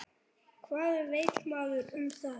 Hvað veit maður um það?